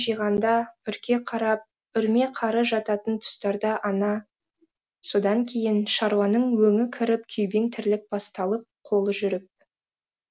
жиғанда үрке қарап үрме қары жататын тұстарда ана содан кейін шаруаның өңі кіріп күйбең тірлік басталып қолы жүріп